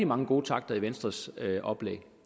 mange gode takter i venstres oplæg